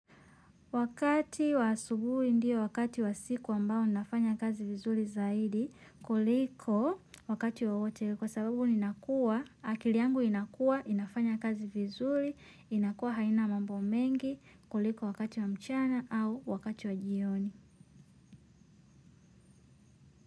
Wakati wa asubuhi ndio, wakati wa siku ambao nafanya kazi vizuri zaidi, kuliko wakati wawote ule kwa sababu ninakua, akiliangu inakua, inafanya kazi vizuri inakua haina mambo mengi, kuliko wakati wa mchana au wakati wa jioni.